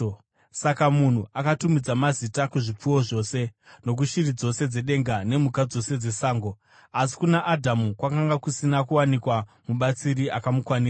Saka munhu akatumidza mazita kuzvipfuwo zvose, nokushiri dzose dzedenga nemhuka dzose dzesango. Asi kuna Adhamu kwakanga kusina kuwanikwa mubatsiri akamukwanira.